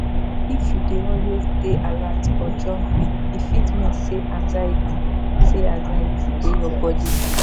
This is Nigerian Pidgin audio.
if you dey always dey alert or jumpy e fit mean say anxiety say anxiety dey your body.